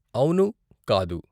అవును, కాదు!